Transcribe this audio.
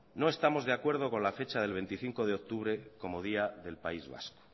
no estamos de acuerdo con la fecha del veinticinco de octubre como día del país vasco